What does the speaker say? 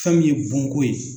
Fɛn min ye bon ko ye.